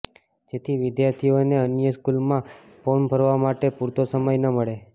જેથી વિદ્યાર્થીઓને અન્ય સ્કૂલમાં ફોર્મ ભરવા માટે પુરતો સમય ન મળે